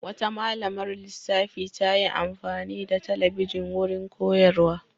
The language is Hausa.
Wata malamar lissafi ta yi amfani da talabijin wurin koyarwa.